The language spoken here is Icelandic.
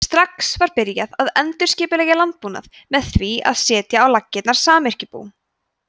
strax var byrjað að endurskipuleggja landbúnað með því að setja á laggirnar samyrkjubú